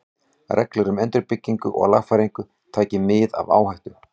Reglur um endurbyggingu og lagfæringar, taki mið af áhættu.